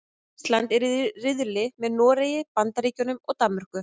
Ísland er í riðli með Noregi, Bandaríkjunum og Danmörku.